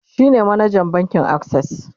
shine manajan bankin akses